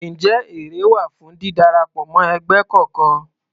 Ǹjẹ́ èrè wà fún dídarapọ̀ mọ́ ẹgbẹ́ kọkan?